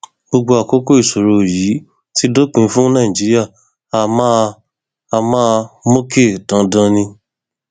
gbogbo àkókò ìṣòro yìí ti dópin fún nàìjíríà a máa a máa mókè dandan ni